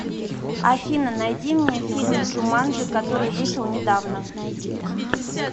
афина найди мне фильм джуманджи который вышел недавно